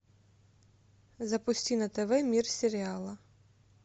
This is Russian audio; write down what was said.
запусти на тв мир сериала